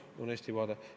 See on Eesti vaade.